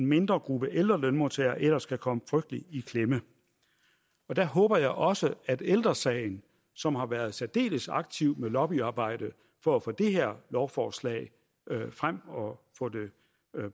mindre gruppe ældre lønmodtagere ellers kan komme frygtelig i klemme der håber jeg også at ældre sagen som har været særdeles aktiv med lobbyarbejde for at få det her lovforslag frem og få det